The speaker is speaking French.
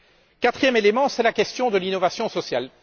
Le quatrième élément concerne la question de l'innovation sociale.